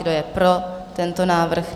Kdo je pro tento návrh?